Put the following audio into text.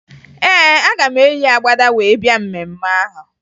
Ee, aga m eyi agbada wee bịa mmemme ahụ